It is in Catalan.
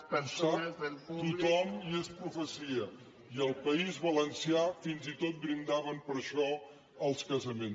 ho sap tothom i és profecia i al país valencià fins i tot brindaven per això als casaments